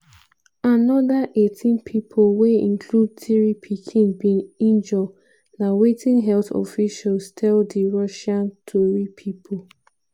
anoda 18 pipo wey include three pikin bin injure na wetin health officials tell di russian tori pipo.